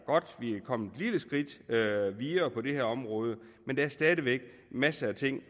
kommet et lille skridt videre på det her område men der er stadig væk masser af ting